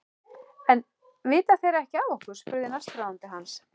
En vita þeir ekki af okkur? spurði næstráðandi hans.